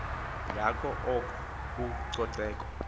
ngako oko ucoceko